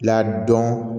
Ladɔn